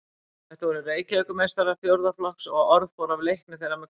Þetta voru Reykjavíkurmeistarar fjórða flokks og orð fór af leikni þeirra með knöttinn.